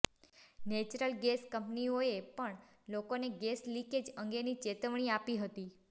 natural gas કંપનીઓએ પણ લોકોને ગેસ લીકેજ અંગેની ચેતવણી આપી હતી